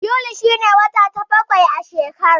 Yuli shi ne wata na bakwai a shekara.